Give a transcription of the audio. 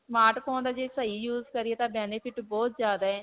smart phone ਦਾ ਜੇ ਸਹੀ use ਕਰੀਏ ਤਾਂ benefit ਬਹੁਤ ਜਿਆਦਾ ਹੈ.